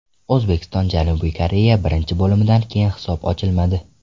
O‘zbekiston − Janubiy Koreya: Birinchi bo‘limdan keyin hisob ochilmadi.